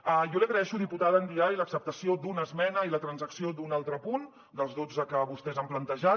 jo li agraeixo diputada ndiaye l’acceptació d’una esmena i la transacció d’un altre punt dels dotze que vostès han plantejat